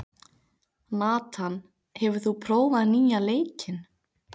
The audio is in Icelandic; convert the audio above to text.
Nathan, hefur þú prófað nýja leikinn?